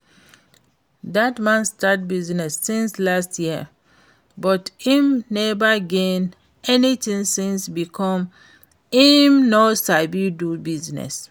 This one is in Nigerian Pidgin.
Dat man start business since last year but im never gain anything since because im no sabi do business